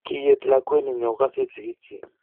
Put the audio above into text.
kiet lakwet nino ko kas it sigiik chich